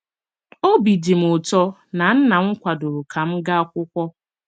Obi dị m ụtọ na nnam kwadoro ka m gaa akwụkwọ.